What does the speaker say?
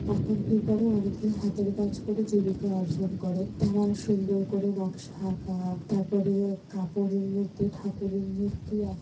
এখন কি করে অনেকেই হাতের কাজ করে জীবিকা অর্জন করে তারা সুন্দর করে নকশা আঁকা তারপরে কাপড়ের মধ্যে ঠাকুরের মূর্তি আঁ--